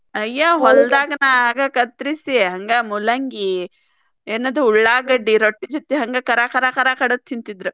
ಅಯ್ಯ್ ಹೋಲ್ಡಾಗನ ಆಗ ಕತ್ರಿಸಿ ಹಂಗ ಮೂಲಂಗಿ ಎನದ ಉಳ್ಳಾಗಡ್ಡಿ ರೊಟ್ಟಿ ಜೊತಿ ಹಂಗ ಕರಾ ಕರಾ ಕರಾ ಕಡದ್ ತಿಂತಿದ್ರ.